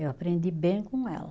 Eu aprendi bem com ela.